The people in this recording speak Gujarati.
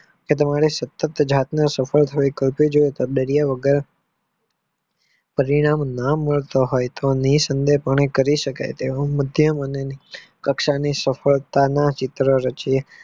કે તમારે સતત જાત નું સફળ ડરિયા વગર નામ ન તોહાય એ સંબંધો ને કરી શકાય કક્ષની સફળતામાં ચિત્ર રચો